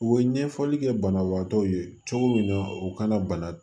U ye ɲɛfɔli kɛ banabagatɔw ye cogo min na u kana bana